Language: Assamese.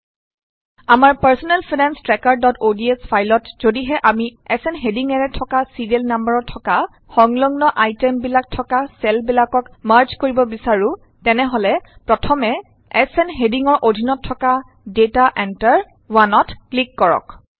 আমাৰ পাৰ্ছনেল ফাইনান্স ট্ৰেকাৰods ফাইলত যদিহে আমি এচ এন হেডিঙেৰে থকা ছিৰিয়েল নাম্বাৰৰ থকা সংলগ্ন আইটেম বিলাক থকা চেল বিলাকক মাৰ্জ কৰিব বিচাৰো তেনে প্ৰথমে এচ এন হেডিঙৰ অধীনত থকা ডেটা এন্ট্ৰি 1 ত ক্লিক কৰক